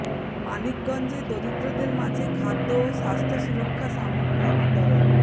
মানিকগঞ্জে দরিদ্রদের মাঝে খাদ্য ও স্বাস্থ্য সুরক্ষা সামগ্রী বিতরণ